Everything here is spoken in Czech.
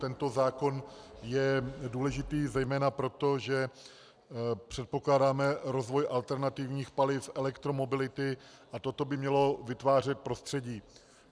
Tento zákon je důležitý zejména proto, že předpokládáme rozvoj alternativních paliv, elektromobility a toto by mělo vytvářet prostředí.